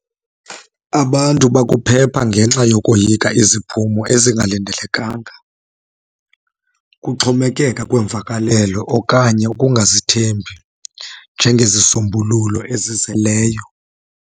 Abantu bakuphepha ngenxa yokoyika iziphumo ezingalindelekanga. Kuxhomekeka kwiimvakalelo okanye ukungazithembi njengezisombululo ezizeleyo.